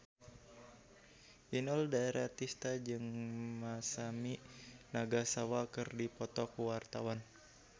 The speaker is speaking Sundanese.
Inul Daratista jeung Masami Nagasawa keur dipoto ku wartawan